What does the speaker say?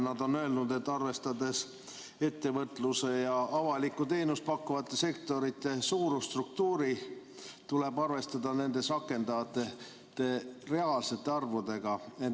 Nad on öelnud, et arvestades ettevõtluse ja avalikku teenust pakkuvate sektorite suurusstruktuuri, tuleb arvestada nendes rakendatavate reaalsete arvudega.